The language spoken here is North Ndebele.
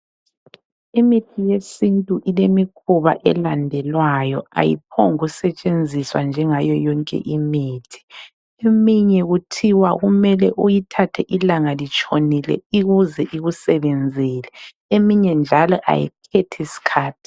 Imithi yesintu ilemikhuba elandelwayo ayiphombu kusetshenziswa njengayo yonke imithi, eminye kuthiwa kumele uyithathe ilanga litshonile ikuze ikusebenzele eminye njalo ayithathi skhathi.